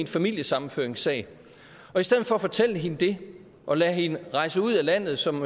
familiesammenføringssag i stedet for at fortælle hende det og lade hende rejse ud af landet som